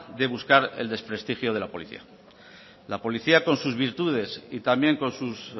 de buscar el desprestigio de la policía la policía con sus virtudes y también con sus